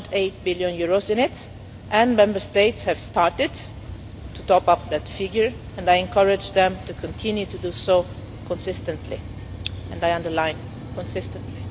EUR 1.8 billion into it and Member States have started to top up that figure, and I encourage them to continue to do so consistently and I underline consistently.